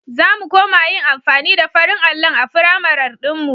Za mu koma yin amfani da farin allon a firamar ɗinmu.